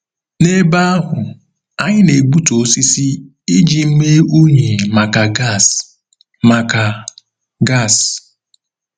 N'ebe ahụ, anyị na-egbutu osisi iji mee unyi maka gas. maka gas.